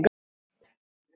Úr honum margur fylli fær.